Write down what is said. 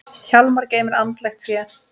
Hjálmar geymir andlegt fé.